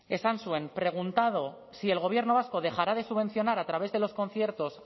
esan zuen preguntado si el gobierno vasco dejará de subvencionar a través de los conciertos